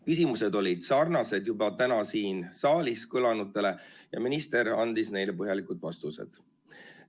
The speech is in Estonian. Küsimused olid sarnased juba täna siin saalis kõlanutega ja minister andis neile põhjalikud vastused.